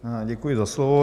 Děkuji za slovo.